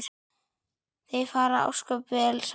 Þau fara ósköp vel saman